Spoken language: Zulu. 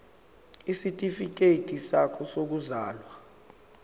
isitifikedi sakho sokuzalwa